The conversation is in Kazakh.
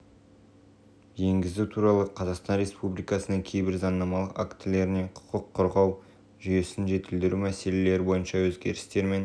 енгізу туралы қазақстан республикасының кейбір заңнамалық актілеріне құқық қорғау жүйесін жетілдіру мәселелері бойынша өзгерістер мен